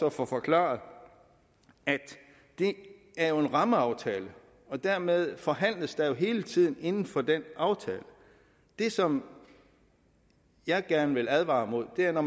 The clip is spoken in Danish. at få forklaret at det er en rammeaftale og dermed forhandles der jo hele tiden inden for den aftale det som jeg gerne vil advare imod er